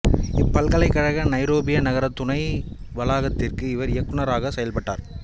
இப்பல்கலைக்கழக Nairobi நகர துணை வளாகத்திற்கு இவர் இயக்குநராகவும் செயற்பட்டார்